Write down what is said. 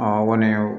o kɔni